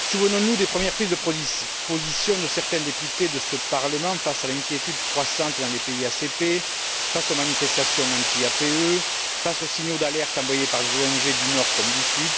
Souvenons nous des premières prises de position de certains députés de ce Parlement face à l'inquiétude croissante dans les pays ACP, face aux manifestations anti APE, face aux signaux d'alerte envoyés par les ONG du Nord comme du Sud,